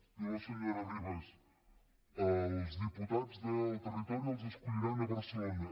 diu la senyora ribas els diputats del territori els escolliran a barcelona